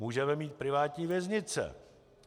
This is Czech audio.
Můžeme mít privátní věznice.